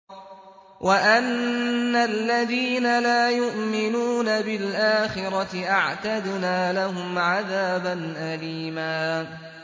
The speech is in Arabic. وَأَنَّ الَّذِينَ لَا يُؤْمِنُونَ بِالْآخِرَةِ أَعْتَدْنَا لَهُمْ عَذَابًا أَلِيمًا